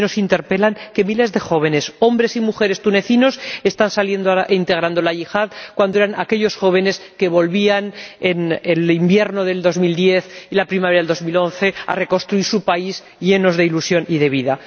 También nos interpelan ante el hecho de que miles de jóvenes, hombres y mujeres tunecinos, estén ahora integrando la yihad, cuando eran los jóvenes quienes volvían, en el invierno de 2010 y la primavera de 2011, a reconstruir su país llenos de ilusión y de vida.